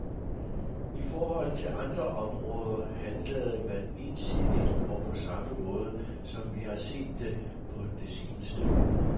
I forhold til andre områder handlede man ensidigt og på samme måde, som vi har set det på det seneste.